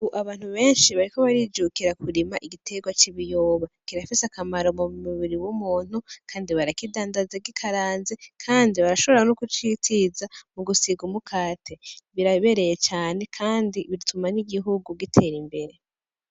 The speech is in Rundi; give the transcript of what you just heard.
U abantu benshi bariko barijukira kurima igiterwa c'ibiyoba kirafise akamaro mu mubiri w'umuntu, kandi barakidandazeg'ikaranze, kandi barashobora no gucitiza mu gusiga umukate birabereye cane, kandi bituma n'igihugu gitera imbere.